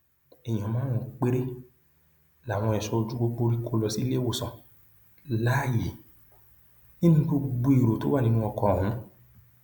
èèyàn márùnún péré làwọn ẹṣọ ojú pópó rí kó lọ sílé ìwòsàn láàyè nínú gbogbo èrò tó wà nínú ọkọ ọhún